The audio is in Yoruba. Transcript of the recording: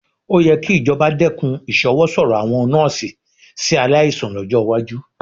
Ó yẹ kí ìjọba dẹ́kun ìṣọwọ́sọ̀rọ̀ àwọn nọ́ọ́sì sí aláìsàn lọ́jọ́ iwájú